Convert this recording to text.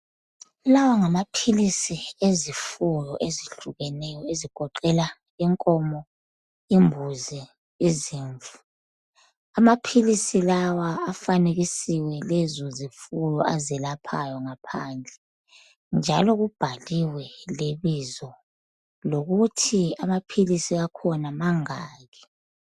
Lawa ngamaphilisi ezifuyo ezihlukeneyo ezigoqela inkomo, imbuzi, izimvu. Amaphilisi lawa afanekisiwe lezo zifuyo azelaphayo ngaphandle, njalo kubhaliwe lebizo lokuthi amaphilisi akhona mangaki.